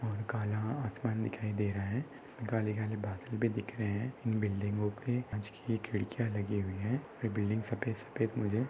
और काला आसमान दिखाई दे रहा है काले घने बादल भी दिख रहे है। इन बिल्डिंगो के काच की खिड़कियाँ लगी हुई है। ये बिल्डिंग सफेद सफेद मुझे--